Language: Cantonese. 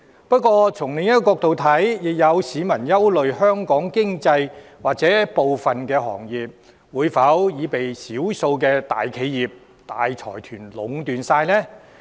不過，從另一個角度看，亦有市民憂慮，香港經濟或部分行業會否被少數的大企業、大財團所壟斷？